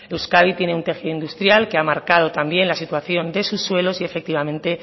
euskadi tiene un tejido industrial que ha marcado también la situación de sus suelos y efectivamente